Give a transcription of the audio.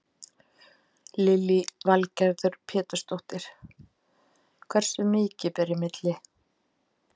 Lillý Valgerður Pétursdóttir: Hversu mikið ber í milli?